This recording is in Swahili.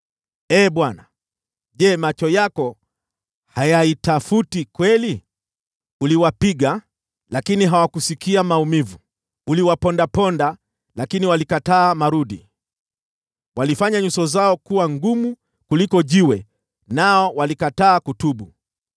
Ee Bwana , je, macho yako hayaitafuti kweli? Uliwapiga, lakini hawakusikia maumivu, uliwapondaponda, lakini walikataa maonyo. Walifanya nyuso zao kuwa ngumu kuliko jiwe nao walikataa kutubu.